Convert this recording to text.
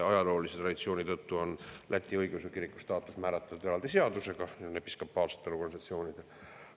Ajaloolise traditsiooni tõttu on Läti õigeusu kiriku staatus määratletud eraldi seadusega, nende episkopaalsete organisatsioonide puhul.